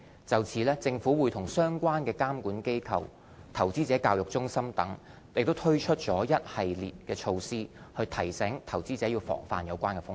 就此政府和相關監管機構、投資者教育中心等已推出了一系列措施提醒投資者防範有關的風險。